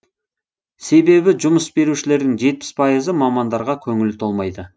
себебі жұмыс берушілердің жетпіс пайызы мамандарға көңілі толмайды